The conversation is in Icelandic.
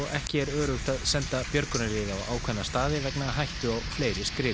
ekki öruggt að senda björgunarlið á ákveðna staði vegna hættu á fleiri skriðum